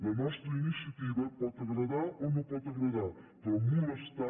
la nostra iniciativa pot agradar o no pot agradar però molestar